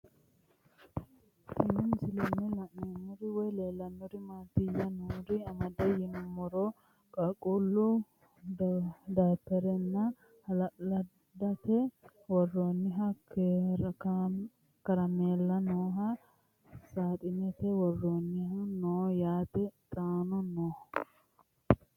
Tenne misilenni la'nanniri woy leellannori maattiya noori amadde yinummoro qaaqullu dapherenna haalaandette woroonnihu karameellu nooha saaxinete woroonnihu noo yaatte xaanno noo